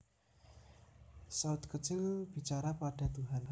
Saut kecil bicara pada Tuhan